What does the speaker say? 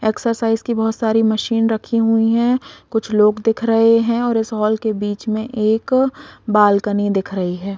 Exercise की बहुत सारी मशीन रखी हुई है कुछ लोग दिख रहे है और इस हॉल के बीच में एक बालकनी दिख रही है।